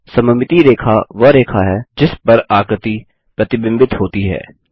सममिति रेखा वह रेखा है जिस पर आकृति प्रतिबिंबित होती है